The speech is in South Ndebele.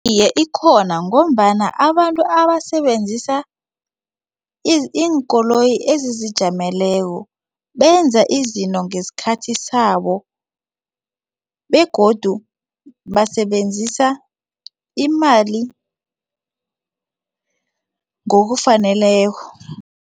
Iye, ikhona ngombana abantu abasebenzisa iinkoloyi ezizijameleko benza izinto ngesikhathi sabo begodu basebenzisa imali ngokufaneleko.